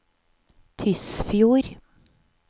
Tysfjord